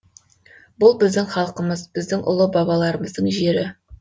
бұл біздің халқымыз біздің ұлы бабаларымыздың жері